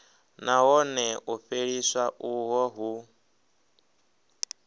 nahone u fheliswa uho hu